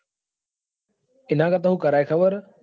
એના કરતા હું કરાય ખબર હ?